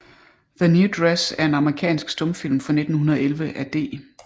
The New Dress er en amerikansk stumfilm fra 1911 af D